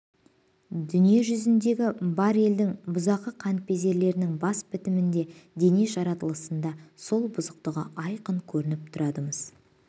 дүние жүзіндегі бар елдің бұзақы қаныпезерлерінің бас бітімінде дене жаралысында сол бұзықтығы айқын көрініп тұрады-мыс